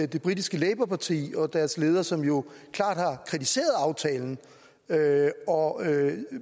det britiske labour parti og deres leder som jo klart har kritiseret aftalen og